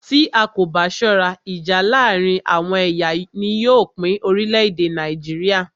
Tí a kò bá ṣọ́rá, ìjà láàárín àwọn ẹ̀yà ni yóò pín orílẹ̀-èdè Nàìjíríà.